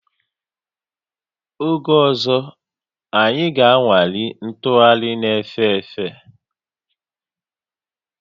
Oge ọzọ, anyị ga-anwale ntụgharị na-efe efe